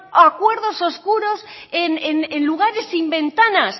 acuerdos oscuros en lugares sin ventanas